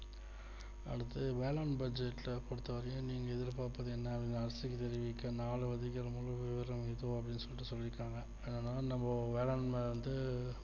அடுத்த வேளாண் budget ல பொறுத்த வரைக்கும் நீங்க இதுல பாக்குறது என்னா அரசுக்கு தெரிவிக்கிறது நாள் சொல்லி இருக்காங்க அதனால நம்ம வேளாண்ல வந்து